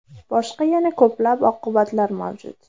Boshqa yana ko‘plab oqibatlar mavjud.